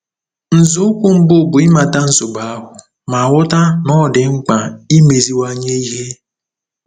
Nzọụkwụ mbụ bụ ịmata nsogbu ahụ ma ghọta na ọ dị mkpa imeziwanye ihe.